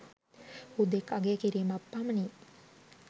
හුදෙක් අගය කිරීමක් පමණි